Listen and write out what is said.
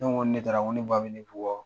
Ne ko n ko ni ne taara ne ba bi ne bugɔ.